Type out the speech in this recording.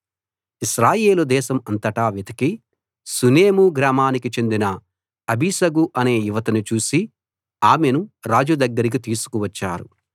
ఇశ్రాయేలు దేశం అంతటా వెతికి షూనేము గ్రామానికి చెందిన అబీషగు అనే యువతిని చూసి ఆమెను రాజు దగ్గరికి తీసుకు వచ్చారు